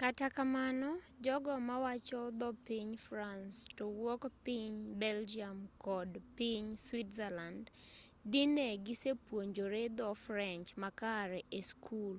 kata kamano jogo mawacho dho piny france towuok piny belgium kod piny switzerland dine gisepuonjore dho french makare e skul